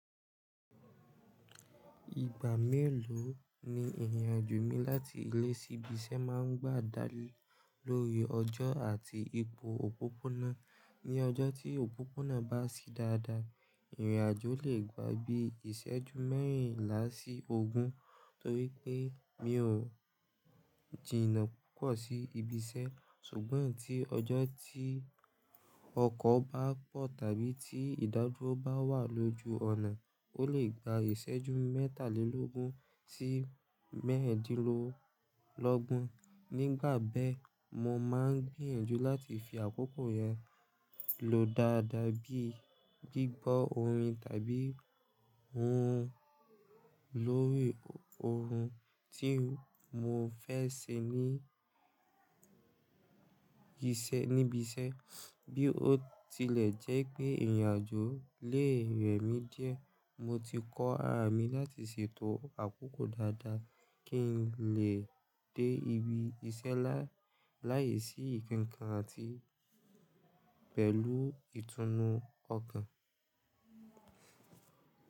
Ìgbà mélòó ni ìrìn àjò mi láti ilé sí ibi iṣẹ́ máa ń gbà dá lé lórí ọjọ́ àti ipò òpópónà. Ni ọjọ́ tí òpópónà bá sí dáadáa, ìrìn àjò lè gba bí iṣẹ́jú mẹ́rìnlá sí ogún torí pé mi ò jiná púpọ̀ sí ibi iṣẹ́. Ṣùgbọ́n eyi tí ọjọ́ tí ọkọ̀ bá pọ̀ tàbí tí ìdádúró bá wà lójú ọ̀nà, ó lè gba iṣẹ́jú mẹ́tàlélógún sí mẹ́rindínlọ́gbọ̀n. Nígbà bẹ́ẹ̀, mo máa ń gbìyànjú láti fi àkókò yẹn lò dáadáa bí i gbígbọ́ orin tàbí lórí ohun tí mò fẹ́ ṣe ní ibi iṣẹ́. Bí ó tilẹ̀ jẹ́ pé ìrìn àjò lè rẹ mí díẹ̀, mo ti kọ ara mi láti ṣètò àkókò dáadáa kí n lè dé ibi iṣẹ́ láìsí nkankan àti pẹ̀lú ìtùnú ọkàn.